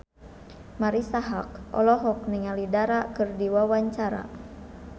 Marisa Haque olohok ningali Dara keur diwawancara